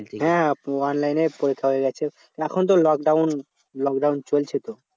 হ্যাঁ online এ পরীক্ষা হয়ে গেছে। এখন তো lockdown lockdown চলছে তো।